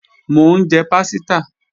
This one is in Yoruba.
Mò ń jẹ pásítà